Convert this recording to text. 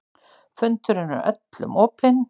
Fundurinn er öllum opinn